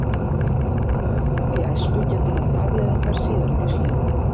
Höfuðhögg í æsku geta haft afleiðingar síðar á lífsleiðinni.